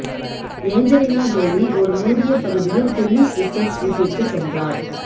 Angelina Jolie ஒரு மூடிய பகுதியில் டெனிஸ் ரிச்சர்ட்ஸ் வீட்டிற்குச் சென்றார்